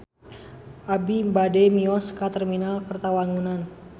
Abi bade mios ka Terminal Kertawangunan